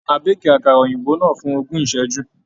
A béèkì àkàrà òyìnbó náà fún ogún ìṣẹ́jú.